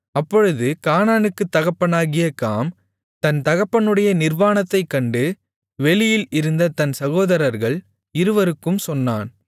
அப்பொழுது கானானுக்குத் தகப்பனாகிய காம் தன் தகப்பனுடைய நிர்வாணத்தைக் கண்டு வெளியில் இருந்த தன் சகோதரர்கள் இருவருக்கும் சொன்னான்